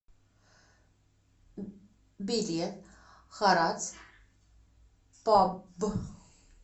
билет харатс паб